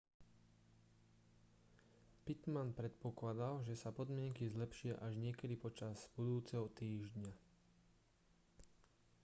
pittman predpokladal že sa podmienky zlepšia až niekedy počas budúceho týždňa